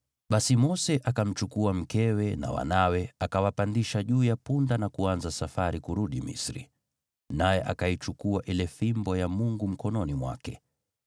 Basi Mose akamchukua mkewe na wanawe, akawapandisha juu ya punda na kuanza safari kurudi Misri. Naye akaichukua ile fimbo ya Mungu mkononi mwake.